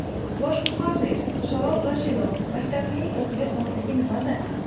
Bosh muharrir Sharof Rashidov maktabining o‘ziga xosligi nimada?